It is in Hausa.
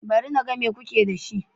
Bari na ga mai kuke da shi.